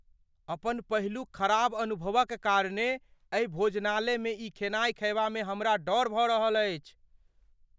अपन पहिलुक खराब अनुभवक कारणे एहि भोजनालयमे ई खेनाइ खयबामे हमरा डर भऽ रहल अछि।